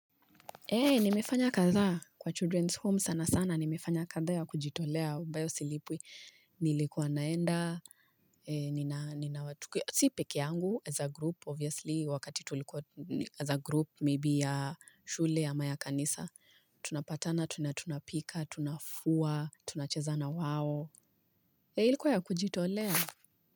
Eeh, nimefanya kadhaa kwa children's home sana sana, nimefanya kathaa ya kujitolea ambayo silipwi. Nilikuwa naenda, ninawatukia si pekeangu as a group, obviously, wakati tulikuwa as a group, maybe ya shule ama ya kanisa. Tunapatana, tunatunapika, tunafua, tunacheza na wao. Eeh ilikuwa ya kujitolea.